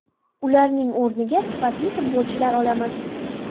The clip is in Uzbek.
Ularning o‘rniga sifatli futbolchilar olamiz.